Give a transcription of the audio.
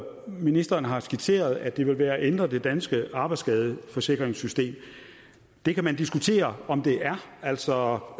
ministeren har skitseret at det vil være at ændre det danske arbejdsskadeforsikringssystem det kan man diskutere om det er altså